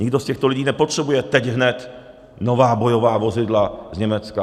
Nikdo z těchto lidí nepotřebuje teď hned nová bojová vozidla z Německa.